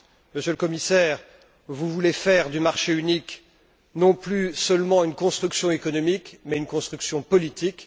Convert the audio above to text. Monsieur le Commissaire, vous voulez faire du marché unique non plus seulement une construction économique, mais une construction politique.